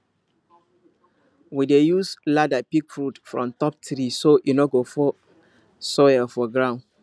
we dey use ladder pick fruit from top tree so e no go fall spoil for ground